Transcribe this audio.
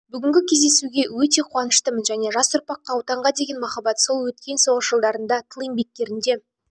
бүгінгі кездесуге өте қуаныштымын мен жас ұрпаққа отанға деген махаббат сол өткен соғыс жылдарында тыл еңбеккерінде